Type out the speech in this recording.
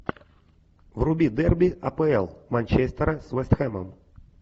вруби дерби апл манчестера с вест хэмом